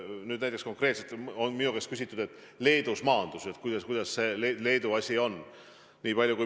Nüüd näiteks on konkreetselt minu käest küsitud, et Leedus maandus selline lennuk ja kuidas Leedus need asjad on.